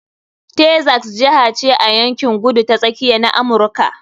Texas jiha ce a yankin Kudu ta Tsakiya na Amurka.